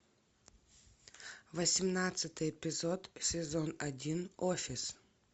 восемнадцатый эпизод сезон один офис